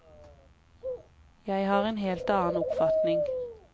Jeg har en helt annen oppfatning.